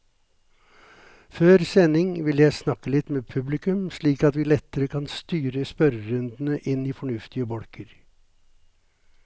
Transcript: Før sending vil jeg snakke litt med publikum, slik at vi lettere kan styre spørrerundene inn i fornuftige bolker.